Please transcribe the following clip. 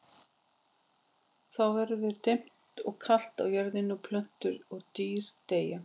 Þá verður dimmt og kalt á jörðinni og plöntur og dýr deyja.